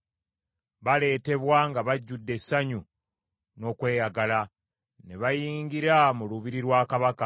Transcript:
Baleetebwa nga bajjudde essanyu n’okweyagala, ne bayingira mu lubiri lwa kabaka.